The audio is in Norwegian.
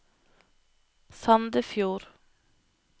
Sandefjord